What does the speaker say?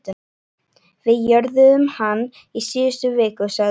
Við jörðuðum hann í síðustu viku, sagði hún.